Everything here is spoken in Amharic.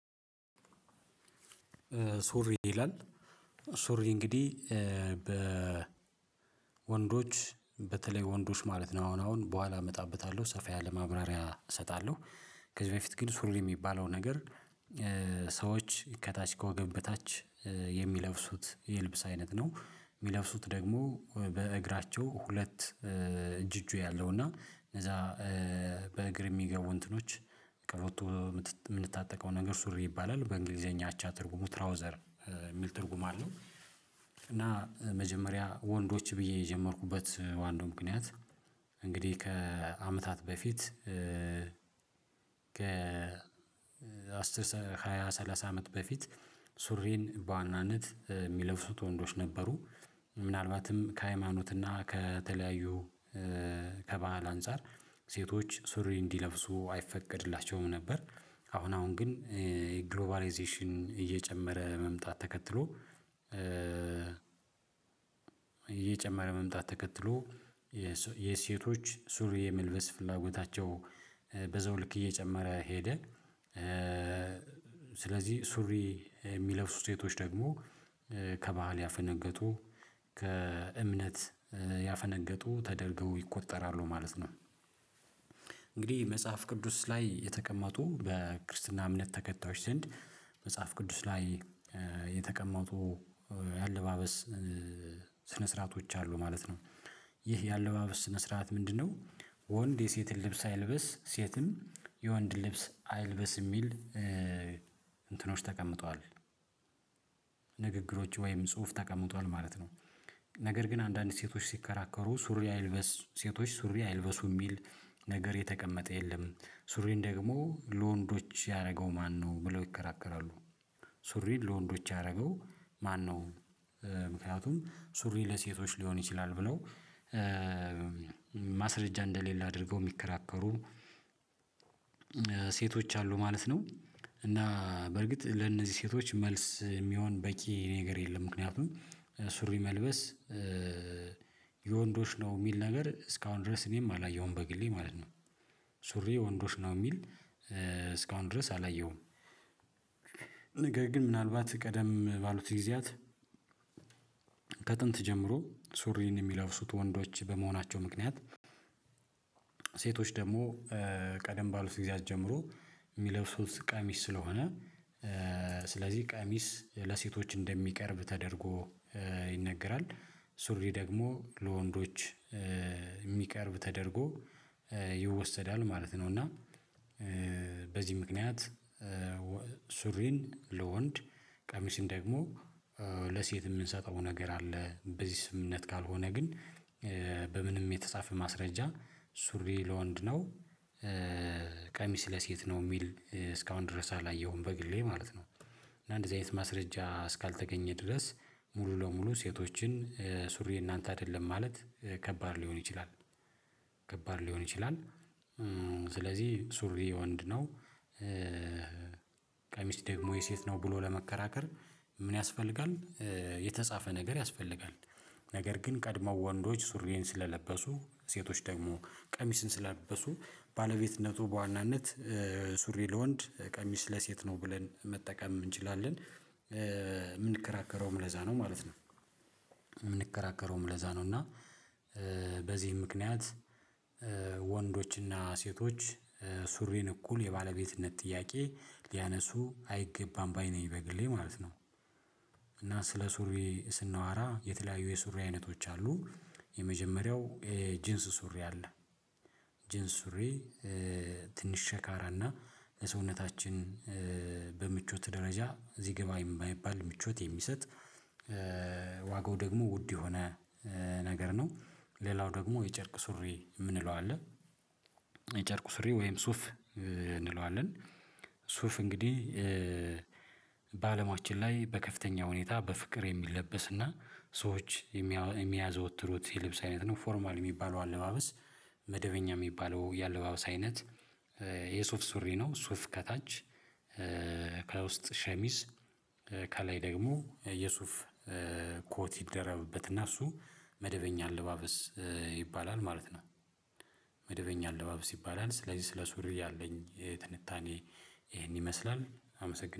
ሱሪ ይላል? ሱሪ እንግዲህ በ በተለይ ወንዶች ማለት ነው አሁን አሁን በኋላ እመጣበታለሁ ሰፋ ያለ ማብራሪያ እሰጣለሁ ከዚህ በፊት ግን ሱሪ የሚባለው ነገር ሰዎች ከታች ከወገብ በታች የሚለብሱት የልብስ አይነት ነው የሚለብሱት ደግሞ በእግራቸው ሁለት እጅ እጁ ያለው እና እንደዛ በእግር የሚገቡ እንትኖች ቀበቶ የምንታጠቀው ነገር ሱሪ ይባላል በእንግሊዘኛ አቻ ትርጉሙ ትራውዘር የሚል ትርጉም አለው። እና መጀመሪያ ወንዶች ብዬ የጀመርኩበት ዋናው ምክንያት እንግዲህ ከአመታት በፊት ከ አስር ሃያ ሰላሳ አመት በፊት ሱሪን በዋናነት የሚለብሱት ወንዶች ነበሩ። ምናልባትም ከሃይማኖት እና ከተለያዩ ከበህል አንፃር ሴቶች ሱሪ እንዲለብሱ አይፈቀድላቸውም ነበር። አሁን አሁን ግን ግሎባላይዜሽን እየጨመረ መምጣት ተከትሎ እየጨመረ መምጣት ተከትሎ የሴቶች ሱሪ የመልበስ ፍላጎታቸው በዘውልክ እየጨመረ ሄደ። ስለዚህ ሱሪ የሚለብሱ ሴቶች ደግሞ ከባህል ያፈነገጡ ከእምነት ያፈነገጡ ተደርገው ይቆጠራሉ ማለት ነው። እንግዲህ መጽሐፍ ቅዱስ ላይ የተቀመጡ በክርስትና እምነት ተከታዮች ዘንድ መጽሐፍ ቅዱስ ላይ የተቀመጡ የአለባበስ ስነ ስርዓቶች አሉ ማለት ነው። ይህ ያለባበስ ስነስርአት ምንድነው? ወንድ የሴትን ልብስ አይልበስ ሴትም የወንድ ልብስ አይልበስ የሚል እንትኖች ተቀምጧል ንግግሮች ወይም ጽሁፍ ተቀምጧል ማለት ነው። ነገር ግን አንዳንድ ሴቶች ሲከራከሩ ሱሪ አይልበስ ሴቶች ሱሪ አይልበሱ የሚል ነገር የተቀመጠ የለም ሱሪን ደግሞ ለወንዶች ያደረገው ማነው ብለው ይከራከራሉ። ሱሪ ለወንዶች ያደረገው ማነው? ምክንያቱም ሱሪ ለሴቶች ሊሆን ይችላል ብለው ማስረጃ እንደሌለ አድርገው የሚከራከሩ ሴቶች አሉ ማለት ነው። እና በርግጥ ለነዚህ ሴቶች መልስ የሚሆን በቂ ነገር የለም ምክንያቱም ሱሪ መልበስ የወንዶች ነው የሚል ነገር እስካሁን ድረስ እኔም አላየሁም በግሌ ማለት ነው። ሱሪ ወንዶች ነው የሚል እስካሁን ድረስ አላየሁም። ነገ ግን ምናልባት ቀደም ባሉት ጊዜያት ከጥንት ጀምሮ ሱሪን የሚለውሱት ወንዶች በመሆናቸው ምክንያት ሴቶች ደግሞ ቀደም ባሉት ጊዜ ጀምሮ የሚለብሱት ቃሚስ ስለሆነ ስለዚህ ቃሚስ ለሴቶች እንደሚቀርብ ተደርጎ ይነገራል። ሱሪ ደግሞ ለወንዶች የሚቀርብ ተደርጎ ይወሰዳል ማለት ነው። እና በዚህ ምክንያት ሱሪን ለወንድ ቀሚስን ደግሞ ለሴት የምንሰጠው ነገር አለ በዚህ ስምምነት ካልሆነ ግን በምንም የተጻፈ ማስረጃ ሱሪ ለወንድ ነው ቀሚስ ለሴት ነው የሚል እስካሁን ድረስ አላየሁም በግሌ ማለት ነው። እና እንደዚህ አይነት ማስረጃ እስካልተገኘ ድረስ ሙሉ ለሙሉ ሴቶችን ሱሪ እናንተ አይደለም ማለት ከባድ ሊሆን ይችላል። ከባድ ሊሆን ይችላል። ስለዚህ ሱሪ ወንድ ነው። ቀሚስ ደግሞ የሴት ነው ብሎ ለመከራከር ምን ያስፈልጋል? የተጻፈ ነገር ያስፈልጋል? ነገር ግን ቀድመው ወንዶች ሱሪዬን ስለለበሱ ሴቶች ደግሞ ቀሚስን ስለለበሱ ባለቤትነቱ በዋናነት ሱሪ ለወንድ ቀሚስ ለሴት ነው ብለን መጠቀም እንችላለን። የምንከራከረውም ለዛ ነው ማለት ነው። የምንከራከረውም ለዛ ነው እና በዚህ ምክንያት ወንዶችና ሴቶች ሱሪን እኩል የባለቤትነት ጥያቄ ሊያነሱ አይገባም ባይ ነኝ ይበግሌ ማለት ነው። እና ስለ ሱሪ ስናዋራ የተለያዩ የሱሪ አይነቶች አሉ። የመጀመሪያው ጂንስ ሱሪ አለ ጂንስ ሱሪ ትንሽ ሸካራና ሰውነታችን በምቾት ደረጃ እዚህ ገባ የማይባል ምቾት የሚሰጥ ዋጋው ደግሞ ውድ የሆነ ነገር ነው። ሌላው ደግሞ የጨርቅ ሱሪ የምንለው አለ የጨርቁ ስሪ ወይም ሱፍ እንለዋለን። ሱፍ እንግዲህ ላይ በከፍተኛ ሁኔታ በፍቅር የሚለበስና ሰዎች የሚያዘወትሩት የልብስ አይነት ነው ፎርማል የሚባለው አለባበስ መደበኛ የሚባለው የአለባበስ አይነት የሱፍ ሱሪ ነው ሱፍ ከታች ከውስጥ ሸሚስ ከላይ ደግሞ የሱፍ ኮት ይደረበትና እሱ መደበኛ አለባበስ ይባላል ማለት ነው። መደበኛ አለባበስ ይባላል ስለዚህ ስለ ሱሪ ያለኝ ትንታኔ ይሄን ይመስላል አመሰግናለሁ